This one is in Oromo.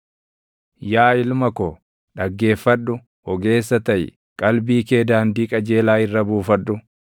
Yaa ilma ko, dhaggeeffadhu; ogeessa taʼi; qalbii kee daandii qajeelaa irra buufadhu.